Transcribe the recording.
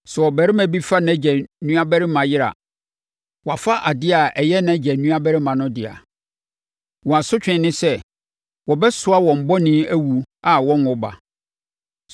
“ ‘Sɛ ɔbarima bi fa nʼagya nuabarima yere a, wafa adeɛ a ɛyɛ nʼagya nuabarima no dea; wɔn asotweɛ ne sɛ, wɔbɛsoa wɔn bɔne awu a wɔnwo ba.